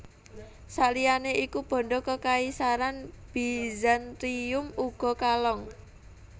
Sakliyane iku banda Kekaisaran Bizantium uga kalong